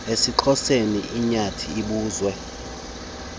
esixhoseni inyathi ibuzwa